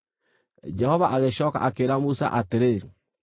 Jehova agĩcooka akĩĩra Musa atĩrĩ,